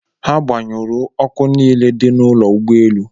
Ha gbanyụrụ ọkụ niile dị n'ụlọ ụgboelụ